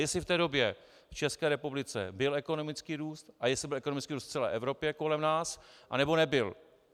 Jestli v té době v České republice byl ekonomický růst a jestli byl ekonomický růst v celé Evropě a kolem nás, anebo nebyl.